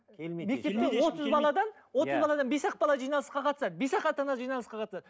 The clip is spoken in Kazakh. отыз баладан бес ақ бала жиналысқа қатысады бес ақ ата ана жиналысқа қатысады